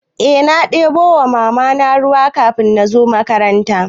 Eh na ɗebo wa Mamana ruwa kafin in zo makaranta.